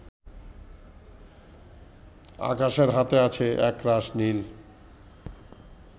আকাশের হাতে আছে একরাশ নীল